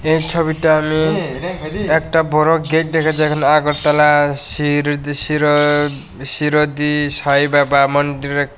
এই ছবিটা আমি একটা বড় গেট দেখা যাক আগরতলা শির শিরো শিরজী সাঁইবাবা মন্দিরে--